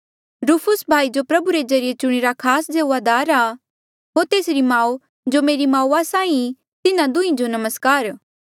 रूफुस भाई जो प्रभु रे ज्रीए चुणीरा खास सेऊआदार आ होर तेसरी माऊ जो मेरी माऊआ साहीं ई तिन्हा दुंहीं जो नमस्कार